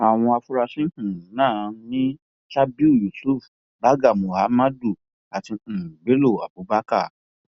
àwọn afurasí um náà ni sabiu yusuf barga mohammadu àti um bello abubakar